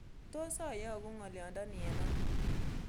Tos' ayogun ng'oliondoni eng' ano